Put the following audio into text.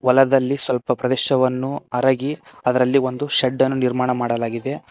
ಹೊಲದಲ್ಲಿ ಸ್ವಲ್ಪ ಪ್ರದೇಶವನ್ನು ಅರಗಿ ಅದರಲ್ಲಿ ಒಂದು ಶೆಡ್ಡನ್ನು ನಿರ್ಮಾಣ ಮಾಡಲಾಗಿದೆ.